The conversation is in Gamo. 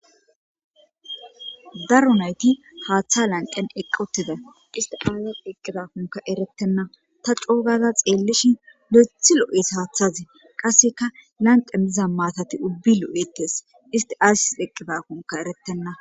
Daro nayti haaththa lanqen eqqotida istiaaza eqqidakkunka erettenna ta coogaza xeellishin le7ethi lo7es haaththaze qasseka lanqe miza maatati ubbi lo7ettes isti aasis deqqidakunka erettenna.